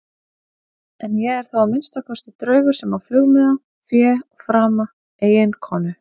En ég er þó að minnsta kosti draugur sem á flugmiða, fé og frama, eiginkonu.